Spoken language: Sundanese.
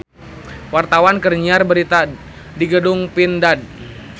Wartawan keur nyiar berita di Gedung Pindad